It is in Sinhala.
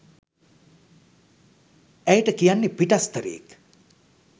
ඇයට කියන්නේ පිටස්තරයෙක්